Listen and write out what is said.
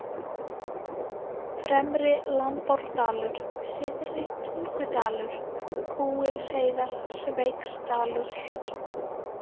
Fremri-Lambárdalur, Syðri-Tungudalur, Kúgilsheiðar, Sveigsdalur